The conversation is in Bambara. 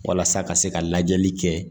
Walasa ka se ka lajɛli kɛ